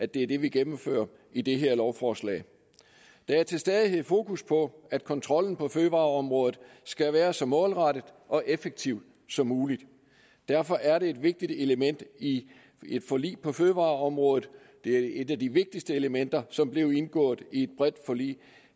det vi vi gennemfører i det her lovforslag der er til stadighed fokus på at kontrollen på fødevareområdet skal være så målrettet og effektiv som muligt derfor er det et vigtigt element i et forlig på fødevareområdet et et af de vigtigste elementer som blev indgået i et bredt forlig